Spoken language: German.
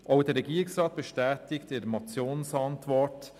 Auch der Regierungsrat bestätigt in der Motionsantwort: